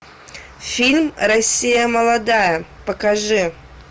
фильм россия молодая покажи